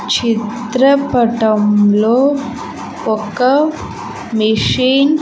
చిత్రపటంలో ఒక మెషిన్ .